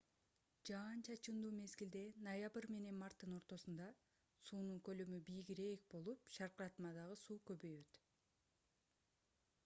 жаан-чачындуу мезгилде ноябрь менен марттын ортосунда суунун көлөмү бийигирээк болуп шаркыратмадагы суу көбөйөт